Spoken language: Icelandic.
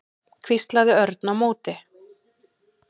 hvíslaði Örn á móti.